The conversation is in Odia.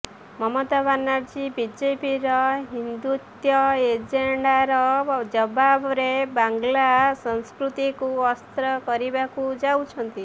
ମମତା ବାନାର୍ଜି ବିଜେପିର ହିନ୍ଦୁତ୍ୱ ଏଜେଣ୍ଡାର ଜବାବରେ ବାଂଲା ସଂସ୍କୃତିକୁ ଅସ୍ତ୍ର କରିବାକୁ ଯାଉଛନ୍ତି